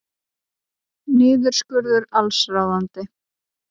Niðurskurður allsráðandi